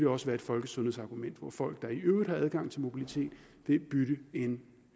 også være et folkesundhedsargument fordi folk der i øvrigt har adgang til mobilitet vil bytte en